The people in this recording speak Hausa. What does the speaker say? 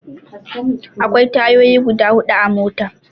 Akwai tayoyi guda hudu a mota.